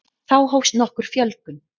þá hófst nokkur fjölgun